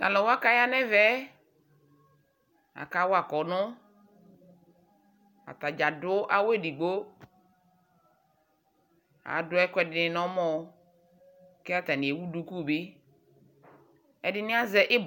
talʋwa kaya nɛvɛ akawa imenʋsɛ ataɖƶa adʋ awʋ eɖigbo aɖʋɛkʋɛɖini nʋ ɔmɔɔ ka atani ewʋ ɖʋkʋbi eɖini aƶɛ ibɔ